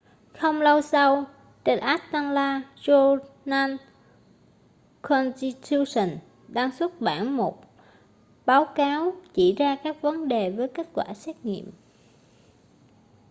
không lâu sau the atlanta journal-constitution đăng xuất bản một báo cáo chỉ ra các vấn đề với kết quả xét nghiệm